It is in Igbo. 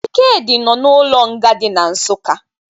Ikedi nọ na-ụlo nga di na Nsụkka